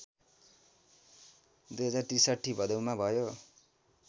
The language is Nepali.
२०६३ भदौमा भयो